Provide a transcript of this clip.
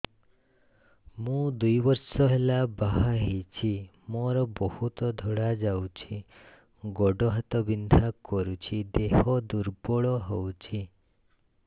ମୁ ଦୁଇ ବର୍ଷ ହେଲା ବାହା ହେଇଛି ମୋର ବହୁତ ଧଳା ଯାଉଛି ଗୋଡ଼ ହାତ ବିନ୍ଧା କରୁଛି ଦେହ ଦୁର୍ବଳ ହଉଛି